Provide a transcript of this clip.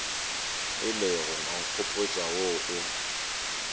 ilego wa nkgopotša wo o